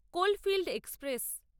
coal field express